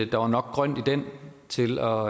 der var nok grønt i den til at